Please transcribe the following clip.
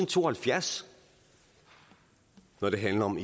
to og halvfjerds når det handler om